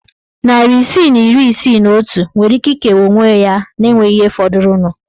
Narị isii na iri isii na otu nwere ike ikewa onwe ya na enweghị ihe fọdụrụnụ.